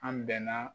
An bɛnna